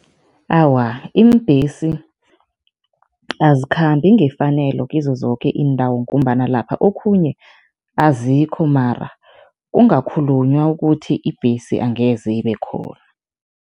Awa, iimbhesi azikhambi ngefanelo kizo zoke iindawo ngombana lapha okhunye azikho mara kungakhulunywa ukuthi ibhesi angeze ibe khona.